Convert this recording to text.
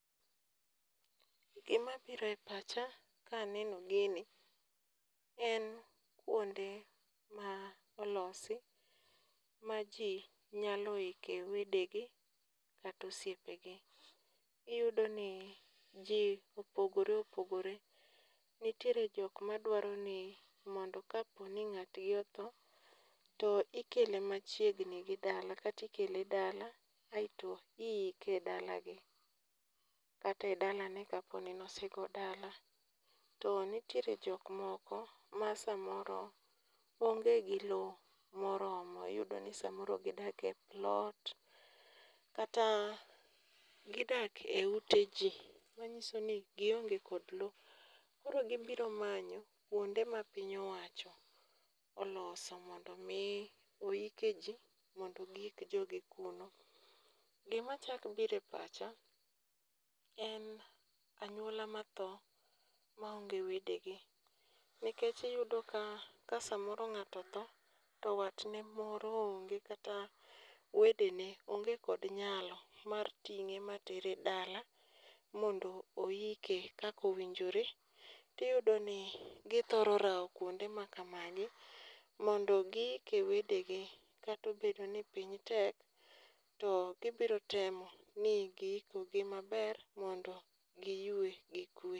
Gima biro e pacha ka aneno gini en kuonde ma olosi maji nyalo ike wedegi kata osiepegi. Iyudo ni ji opogore opogore, nitiere jok madwaro ni mondo kaponi ng'atgi otho to ikele machiegni gi dala kata ikele dala to kaeto iike e dalagi kata e dalane kapo ni ne osego dala. To nitiere jok moko masamoro onge gi lowo moromo iyudo ni samoro gidak e plot kata gidak eute ji manyiso ni gionge kod lowo. Koro gibiro manyo kuonde ma piny owacho oloso mondo mi oike ji mondo giik jogi kuro. Gima chako biro e pacha en anyuola matho maonge wedegi, nikech iyudo ka kasamoro ng'ato otho to watne moro onge kata wedene onge kod nyalo mar ting'e matere dala mondo oike kaka owinjore to iyudo ni githoro rawo kuonde makamagi mondo giike wedegi kata obedo ni piny tek to gibiro temo ni giikogi maber mondo giyue gi kwe.